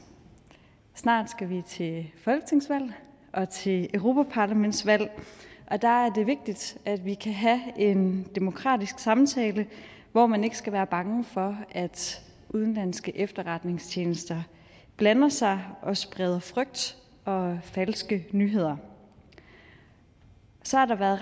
snart skal vi til folketingsvalg og til europaparlamentsvalg og der er det vigtigt at vi kan have en demokratisk samtale hvor man ikke skal være bange for at udenlandske efterretningstjenester blander sig og spreder frygt og falske nyheder så har der været